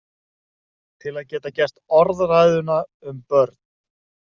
Til að geta gert orðræðuna um börn.